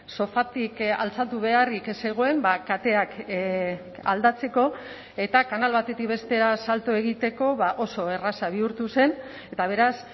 sofatik altxatu beharrik ez zegoen kateak aldatzeko eta kanal batetik bestera salto egiteko oso erraza bihurtu zen eta beraz